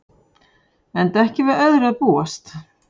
Enda ekki við öðru að búast